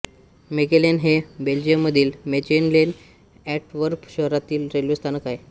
Mechelen हे बेल्जियममधील Mechelen Antwerp शहरातील रेल्वे स्थानक आहे